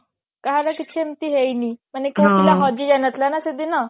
ଏମତି ହେଇନି ମାନେ କୋଉ ପିଲା ହଜି ଯାଇଥିଲା ନଥିଲା ନା ସେଦିନ